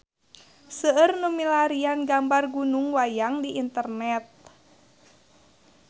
Seueur nu milarian gambar Gunung Wayang di internet